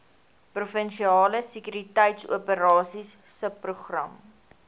provinsiale sekuriteitsoperasies subprogram